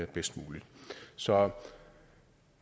bedst muligt så